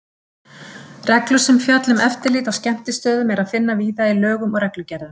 Reglur sem fjalla um eftirlit á skemmtistöðum er að finna víða í lögum og reglugerðum.